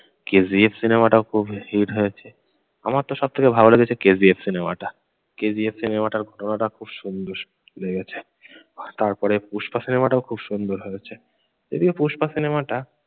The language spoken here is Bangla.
KGF সিনেমা টাও খুব হিট হয়েছে। আমারতো সব থেকে ভালো লেগেছে KGF সিনেমাটা। KGF সিনেমাটার ঘটনাটা খুব সুন্দর লেগেছে। তারপরে পুস্পা সিনেমাটাও খুব সুন্দর হয়েছে। এদিকে পুস্পা সিনেমাটা